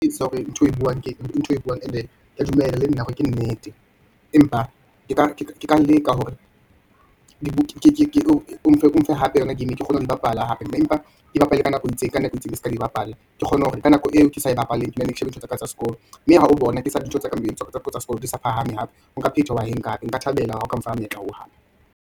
Hore ntho e buang ke ntho eo e buang, and ke dumela le nna hore ke nnete, empa ke ka leka hore ke o mfe hape yona ke kgona ho di bapala hape, mme empa ke bapale ka nako e itseng, ka nako e itseng e seka di bapala. Ke kgone hore ka nako eo ke sa bapaleng, ke nenne ke shebe ntho tsaka tsa sekolo, mme ha o bona tsa sekolo di sa phahame hape, o phetha wa enka hape. Nka thabela ha oka mfa monyetla oo hape.